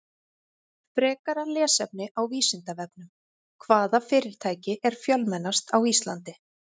Frekara lesefni á Vísindavefnum: Hvaða fyrirtæki er fjölmennast á Íslandi?